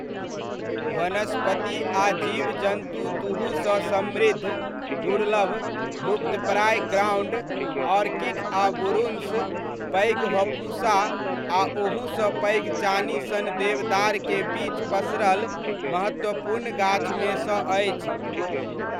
वनस्पति आ जीवजन्तु दुहुसँ समृद्ध, दुर्लभ, लुप्तप्राय ग्राउण्ड ऑर्किड आ बुरुन्श, पैघ हपुषा आ ओहुसँ पैघ चानी सन देवदारके बीच पसरल महत्वपूर्ण गाछमे सँ अछि।